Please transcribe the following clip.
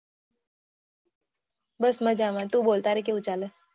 બસ મજ્જા માં તું બોલ તારે કેવું ચાલે